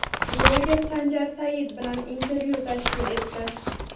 bloger Sanjar Said bilan intervyu tashkil etdi.